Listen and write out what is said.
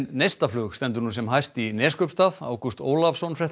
neistaflug stendur nú sem hæst í Neskaupstað Ágúst Ólafsson